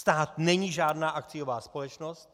Stát není žádná akciová společnost.